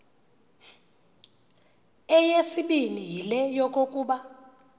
eyesibini yile yokokuba